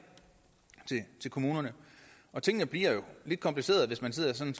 til kommunerne tingene bliver jo lidt komplicerede hvis man sådan